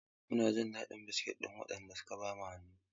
Mun ji daɗin biskit ɗin wajen da suka ba mu.